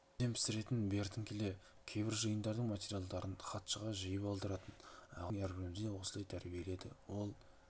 әбден пісіретін бертін келе кейбір жиындардың материалдарын хатшыға жиып алдыратын ағай біздің әрбірімізді осылай тәрбиеледі ол